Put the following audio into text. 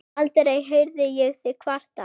Aldrei heyrði ég þig kvarta.